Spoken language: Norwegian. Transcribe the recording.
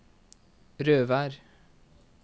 Røvær